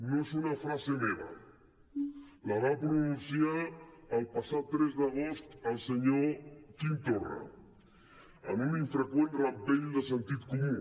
no és una frase meva la va pronunciar el passat tres d’agost el senyor quim torra en un infreqüent rampell de sentit comú